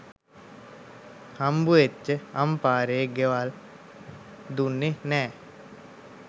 හම්බවෙච්ච අම්පාරෙ ගෙවල් දුන්නෙ නෑ